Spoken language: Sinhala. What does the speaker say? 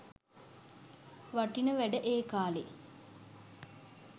වටින වැඩ ඒ කාලේ.